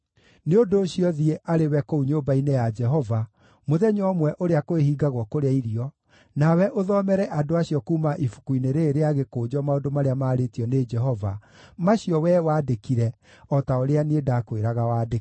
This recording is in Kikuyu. Nĩ ũndũ ũcio thiĩ arĩ we kũu nyũmba-inĩ ya Jehova mũthenya ũmwe ũrĩa kwĩhingagwo kũrĩa irio, nawe ũthomere andũ acio kuuma ibuku-inĩ rĩĩrĩ rĩa gĩkũnjo maũndũ marĩa maarĩtio nĩ Jehova, macio wee wandĩkire o ta ũrĩa niĩ ndaakwĩraga wandĩke.